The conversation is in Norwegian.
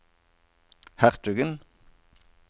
hertugen